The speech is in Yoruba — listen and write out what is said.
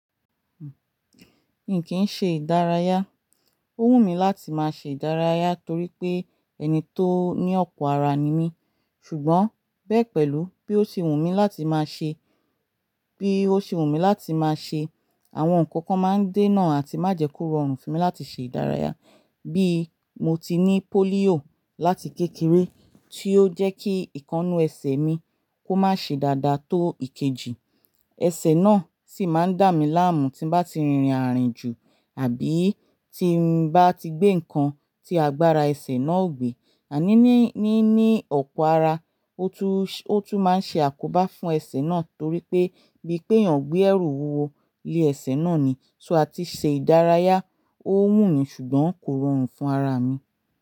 Mì kì n ṣe ìdárayá. Ó wù mí láti máa ṣe ìdárayá torí pé ẹni tó ní ọ̀pọ̀ ara ni mí. Ṣùgbọ́n bẹ́ pẹ̀lú bí ó sì wù mí láti máa ṣe, bí ó sì wù mí láti máa ṣe, àwọn nǹkan kan máa ń dènà àti máa jẹ kó rọrùn fún mi láti ṣe ìdárayá. Bí mo ti ní pólíò láti kékeré tí ó jẹ́ kí ìkanu ẹsẹ̀ mi kó má ṣe dáadáa tó ìkejì. Ẹsẹ̀ náà sì máa ń dà mí láàmú tí bá ti rin àárín jù àbí tí n bá ti gbé nǹkan tí agbára ẹsẹ̀ náà ò gbé. Àní ní, ní, ní ọ̀pọ̀ ara, ó tún, ó tún máa ń ṣe àkóbá fún ẹsẹ̀ náà torí pé bí pé èèyàn gbé ẹrù wúwo lé ẹsẹ̀ náà ni, so áti ṣe ìdárayá, ó wù mí ṣùgbọ́n kò rọrùn fún ara mi.